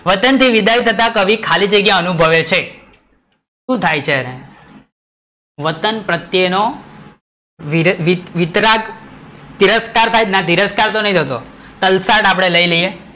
વચન થી વિદાય થતા કવિ ખાલી જગ્યા અનુભવે છે શું થાય છે એને? વતન પ્રત્યે નો વીતરાગ, તિરસ્કાર થાય છે તલસાડ આપડે લઈ લઈએ